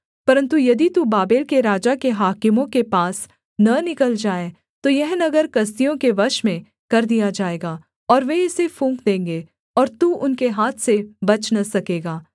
परन्तु यदि तू बाबेल के राजा के हाकिमों के पास न निकल जाए तो यह नगर कसदियों के वश में कर दिया जाएगा ओर वे इसे फूँक देंगे और तू उनके हाथ से बच न सकेगा